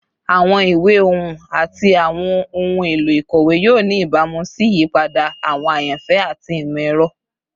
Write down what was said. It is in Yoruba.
Awọn iwe ohun ati awọn ohun elo ikọwe yoo ni ibamu si iyipada awọn ayanfẹ ati imọ-ẹrọ